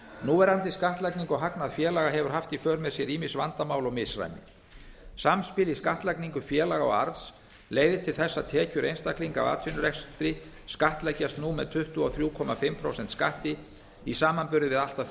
núverandi skattlagning á hagnað félaga hefur haft í för með sér ýmis vandamál og misræmi samspil í skattlagningu félaga og arðs leiðir til þess að tekjur einstaklinga af atvinnurekstri skattleggjast nú með tuttugu og þrjú og hálft prósent skatti í samanburði við allt að